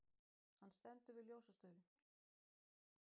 Hann stendur við ljósastaurinn.